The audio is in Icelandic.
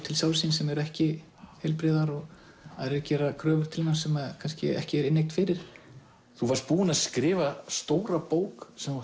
til sjálfs síns sem eru ekki heilbrigðar og aðrir gera kröfur til manns sem kannski ekki er inneign fyrir þú varst búinn að skrifa stóra bók sem